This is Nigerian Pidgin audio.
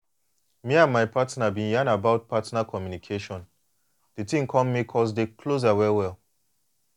me and my my partner been yan about partner communication the thing come make us dey closer well well.